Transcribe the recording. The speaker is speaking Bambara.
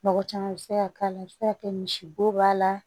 Mɔgɔ caman bɛ se ka k'a la i bɛ se ka kɛ misibo b'a la